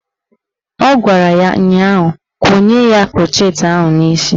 Ọ gwara ya ụnyaahụ "Konye ya krọchet ahụ n'isi "